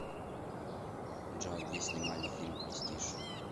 джой где снимали фильм престиж